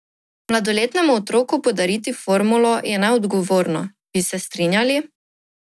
Mladoletnemu otroku podariti formulo je neodgovorno, bi se strinjali?